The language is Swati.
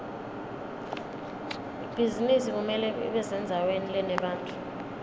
ibhizinisi kumele ibesendzaweni lenebantfu